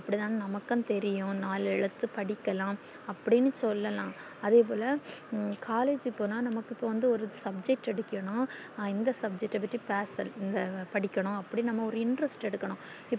அப்டி தான் நமக்கு தெரியும் நாலு எழுத்து படிக்கிலாம் அப்டின்னு சொல்லலாம் அதே போல collage போனா நமக்கு வந்து ஒரு subject எடுக்கணும் எந்த subject பத்தி பேப்ப் படிக்கணும் அப்டின்னும் interest எடுக்கணும்